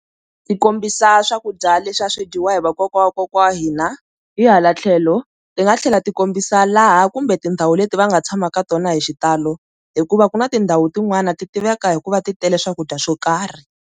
Ti kombisa swakudya leswi a swi dyiwa hi vakokwana wa vakokwana wa hina, hi hala tlhelo ti nga tlhela ti kombisa laha kumbe tindhawu leti va nga tshama ka tona hi xitalo hikuva ku na tindhawu tin'wani ti tiveka hikuva ti tele swakudya swo karhi.